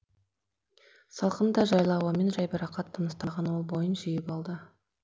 салқын да жайлы ауамен жайбарақат тыныстаған ол бойын жиып алды